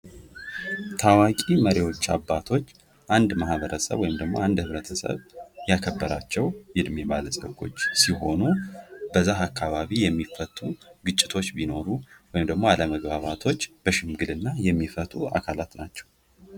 ታዋቂ መሪዎች አባቶች አንድ ማህበረሰብ ወይም ህብረተሰብ የከበራቸው የዕድሜ ባለፀጎች ሲሆኑ በዛህ አካባቢ የሚፈጠሩ ግጭቶች ቢኖሩ ወይም ደግሞ አለመግባባቶች በሽምግልና የሚፈቱ አካላት ናቸው።